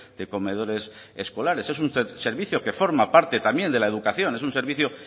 de comedores escolares es un servicio que forma parte también de la educación es un servicio